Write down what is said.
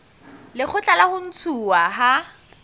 lekgotla la ho ntshuwa ha